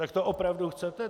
Tak to opravdu chcete?